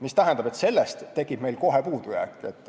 See tähendab, et siis tekib meil kohe puudujääk.